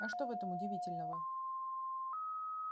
а что в этом удивительного